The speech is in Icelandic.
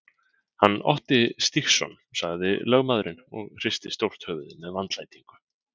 Hann Otti Stígsson, sagði lögmaðurinn og hristi stórt höfuðið með vandlætingu.